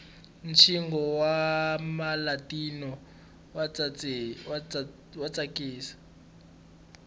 ntjino wamalatino watsakisa